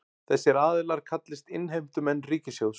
Þessir aðilar kallist innheimtumenn ríkissjóðs